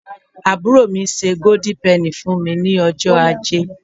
aburo mi se golden penny fún mi ní ọjọ aje